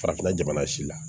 Farafinna jamana si la